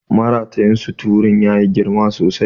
Maratayin suturun ya yi girma sosai.